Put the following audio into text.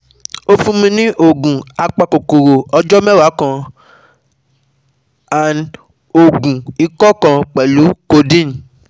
O fun mi ni oogun apakokoro ọjọ mẹwa kan & oogun ikọ kan pẹlu codeine